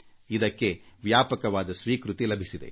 ಇದಕ್ಕೆ ವ್ಯಾಪಕವಾದ ಬೆಂಬಲ ದೊರೆತಿದೆ